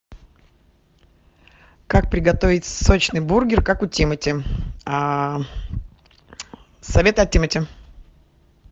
как приготовить сочный бургер как у тимати а советы от тимати